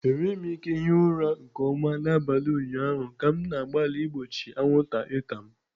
Enweghị m ike hie ụra nke ọma n'abalị ụnyaahụ ka m na-agbalị igbochi anwụnta ịta m.